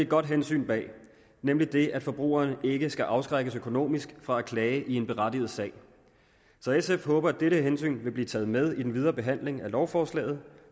godt hensyn bag nemlig det at forbrugeren ikke skal afskrækkes økonomisk fra at klage i en berettiget sag så sf håber at dette hensyn vil blive taget med i den videre behandling af lovforslaget